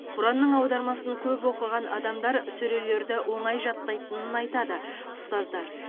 құранның аудармасын көп оқыған адамдар сүрелерді оңай жаттайтынын айтады ұстаздар